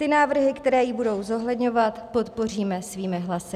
Ty návrhy, které ji budou zohledňovat, podpoříme svými hlasy.